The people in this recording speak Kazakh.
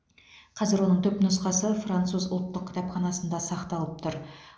қазір оның түпнұқсасы француз ұлттық кітапханасында сақталып тұр